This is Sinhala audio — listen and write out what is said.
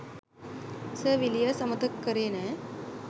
සර් විලියර්ස් අමතක කරේ නෑ.